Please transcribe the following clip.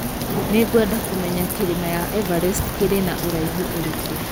Nĩ ngwenda kũmenya kĩrĩma ya Everest kĩrĩ na ũraihu ũrĩkũ